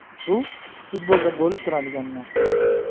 Bu futbolda bo‘lib turadigan narsa.